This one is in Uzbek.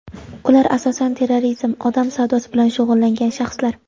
Ular asosan terrorizm, odam savdosi bilan shug‘ullangan shaxslar.